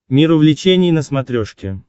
мир увлечений на смотрешке